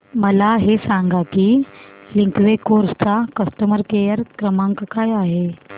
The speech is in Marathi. मला हे सांग की लिंकवे कार्स चा कस्टमर केअर क्रमांक काय आहे